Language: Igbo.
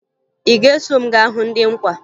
Ị ga-eso m gaa hụ ndị nkwa